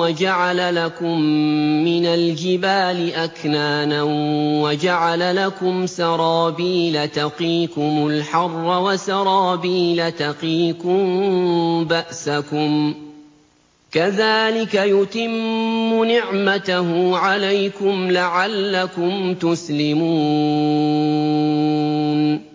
وَجَعَلَ لَكُم مِّنَ الْجِبَالِ أَكْنَانًا وَجَعَلَ لَكُمْ سَرَابِيلَ تَقِيكُمُ الْحَرَّ وَسَرَابِيلَ تَقِيكُم بَأْسَكُمْ ۚ كَذَٰلِكَ يُتِمُّ نِعْمَتَهُ عَلَيْكُمْ لَعَلَّكُمْ تُسْلِمُونَ